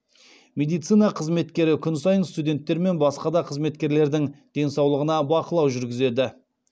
медицина қызметкері күн сайын студенттер мен басқа да қызметкерлердің денсаулығына бақылау жүргізеді